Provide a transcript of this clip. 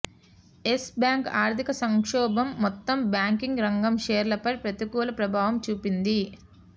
yes Bank ఆర్థిక సంక్షోభం మొత్తం బ్యాంకింగ్ రంగ షేర్లపై ప్రతికూల ప్రభావం చూపింది